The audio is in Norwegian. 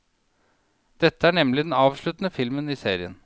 Dette er nemlig den avsluttende filmen i serien.